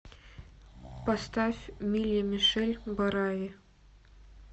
поставь милли мишель барави